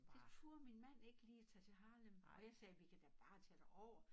Det turde min mand ikke lige at tage til Harlem og jeg sagde vi kan da bare tage derovre